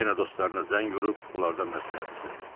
yenə dostlarına zəng vurub onlardan məsləhət istədi.